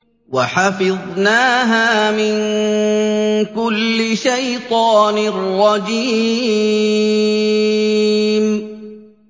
وَحَفِظْنَاهَا مِن كُلِّ شَيْطَانٍ رَّجِيمٍ